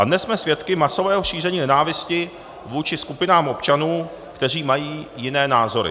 A dnes jsme svědky masového šíření nenávisti vůči skupinám občanů, kteří mají jiné názory.